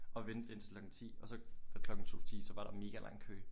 Og vente indtil klokken 10 og så og klokken 10 så var der mega lang kø